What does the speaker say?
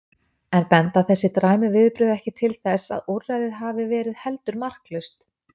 En benda þessi dræmu viðbrögð ekki til þess að úrræðið hafi verið heldur marklaust?